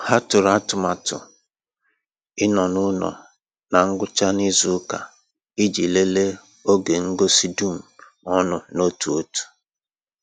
Ha tụrụ atụmatụ ịnọ n’ụlọ na ngwụcha n’izu ụka iji lelee oge ngosi dum ọnụ n’otu n’otu